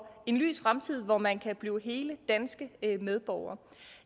en lys fremtid hvor man kan blive hele danske medborgere